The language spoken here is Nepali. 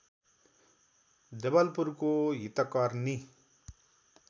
जवलपुरको हितकर्नी